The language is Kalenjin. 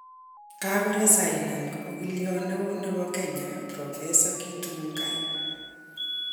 Kagoresinan ogiliot neoo nebo Kenya prof Githu Muigai